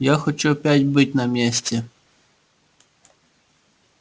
я хочу опять быть на месте